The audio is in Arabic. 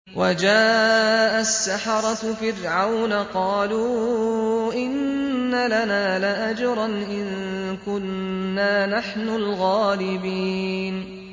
وَجَاءَ السَّحَرَةُ فِرْعَوْنَ قَالُوا إِنَّ لَنَا لَأَجْرًا إِن كُنَّا نَحْنُ الْغَالِبِينَ